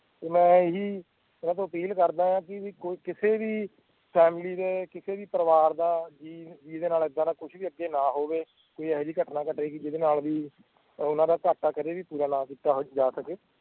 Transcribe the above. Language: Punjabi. ਮੈ ਇਹੀ ਐਨਾ ਤੋਂ ਅਪੀਲ਼ ਕਰਦਾ ਕਿ ਕੋਈ ਕਿਸੇ ਵੀ ਫੈਮਲੀ ਕਿਸੇ ਵੀ ਪਰਵਾਰ ਦਾ ਜੀ ਜਿੰਦੇ ਨਾਲ ਏਦਾਂ ਦਾ ਕੁੱਛ ਵੀ ਅੱਗੇ ਨਾ ਹੋਵੇ ਕੋਈ ਇਹੋ ਜਿਹੀ ਬਟਨਾ ਬਟੇ ਜਿਦੇ ਨਾਲ ਵੀ ਓਹਨਾ ਦਾ ਘਾਟਾ ਕਦੇ ਵੀ ਪੂਰਾ ਕੀਤਾ ਜਾ ਸਕੇ